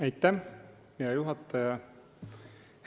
Aitäh, hea juhataja!